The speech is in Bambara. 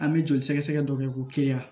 An bɛ joli sɛgɛsɛgɛ dɔ kɛ ko teliya